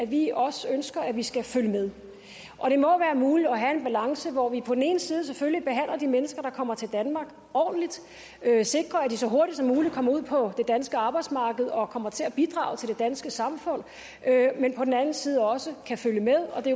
vi også ønsker vi skal følge med og det må være muligt at have en balance hvor vi på den ene side selvfølgelig behandler de mennesker der kommer til danmark ordentligt sikrer at de så hurtigt som muligt kommer ud på det danske arbejdsmarked og kommer til at bidrage til det danske samfund men på den anden side også kan følge med og det